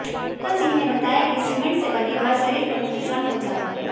नूतन सिंह ने बताया कि सीमेंट से बने घर शरीर को भी नुकसान पहुंचाते हैं